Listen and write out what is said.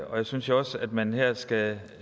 og jeg synes også at man her skal